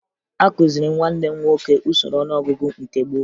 Akụziri m nwanne m nwoke usoro ọnụọgụgụ nke gboo